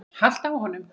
haltu á honum!